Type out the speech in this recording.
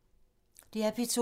DR P2